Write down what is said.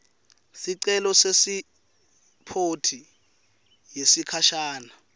sicelo sepasiphothi yesikhashana